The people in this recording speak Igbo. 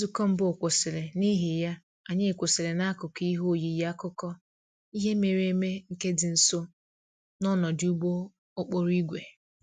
Nzukọ mbụ kwụsịrị, n'ihi ya, anyị kwụsịrị n'akụkụ ihe oyiyi akụkọ ihe mere eme nke dị nso n'ọdụ ụgbọ okporo ígwè